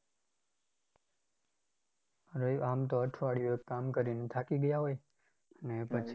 રઈ આમ તો અઠવાડિયું એક કામ કરીને થાકી ગયા હોય અને પછી